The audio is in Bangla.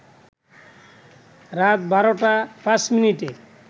রাত ১২টা ৫ মিনিটে